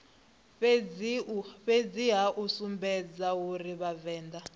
fhedziha u sumbedza uri vhavenḓa